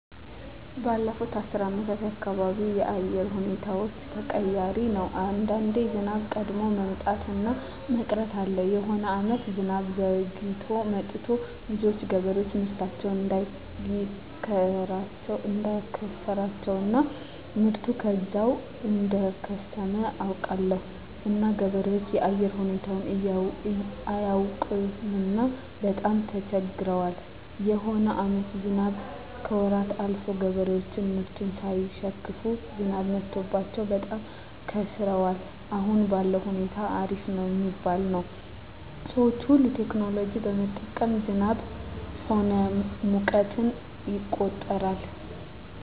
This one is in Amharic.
ባለፋት አስር አመታት የአካባቢው የአየር ሁኔታዎች ተቀያሪ ነው አንዳንዴ ዝናብ ቀድሞ መምጣት እና መቅረት አለ የሆነ አመታት ዝናብ ዘግይቶ መጥቱ ብዙዎች ገበሬዎች ምርታቸውን እዳከሰራቸው እና ምርቱ ከዛው እደከሰመ አውቃለሁ እና ገበሬዎች የአየር ሁኔታው አያውቅምና በጣም ተቸግረዋል የሆነ አመታትም ዝናብ ከወራት አልፎ ገበሬዎች ምርቱን ሳይሸክፋ ዝናብ መትቶባቸው በጣም ከስረዋል አሁን ባለዉ ሁኔታ አሪፍ ነው ሚባል ነው ሰዎች ሁሉ ቴክኖሎጂ በመጠቀም ዝናብ ሆነ ሙቀትን ይቆጠራል